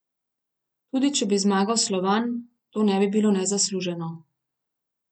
Tudi če bi zmagal Slovan, to ne bi bilo nezasluženo.